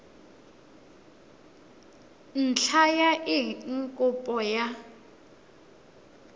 ntlha ya eng kopo ya